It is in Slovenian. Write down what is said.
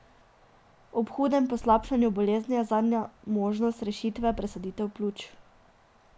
Ob hudem poslabšanju bolezni je zadnja možna rešitev presaditev pljuč.